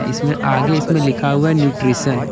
इसमें आगे इसमें लिखा हुआ न्यूट्रिशन --